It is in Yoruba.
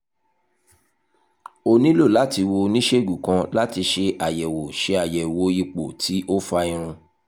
o nilo lati wo oniṣegun kan lati ṣe ayẹwo ṣe ayẹwo ipo ti o fa irun